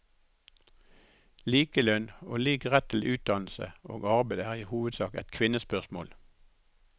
Likelønn og lik rett til utdannelse og arbeid er i hovedsak et kvinnespørsmål.